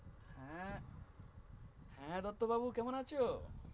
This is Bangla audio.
হ্যাঁ হ্যা দত্ত বাবু কেমন আছো